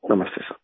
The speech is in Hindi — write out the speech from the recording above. नमस्ते सर